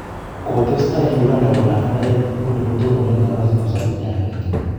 kotesta Uganda Kolany ak oeng nguni kotononen napasit ap 71.